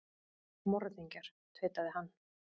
Morðingjar, tautaði hann.